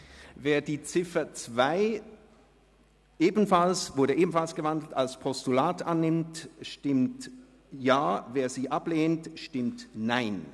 Wer die Ziffer 2, die ebenfalls gewandelt wurde, als Postulat annimmt, stimmt Ja, wer sie ablehnt, stimmt Nein.